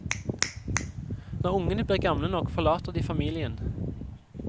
Når ungene blir gamle nok, forlater de familien.